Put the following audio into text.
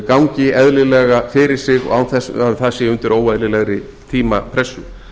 gangi eðlilega fyrir sig og án þess að það sé undir óeðlilegri tímapressu